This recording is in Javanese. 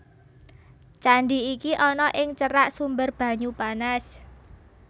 Candi iki ana ing cerak sumber banyu panas